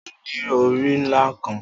O ni ori nla kan